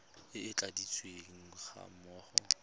e e tladitsweng ga mmogo